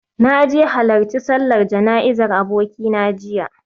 Na je halarci sallar jana'izar abokina jiya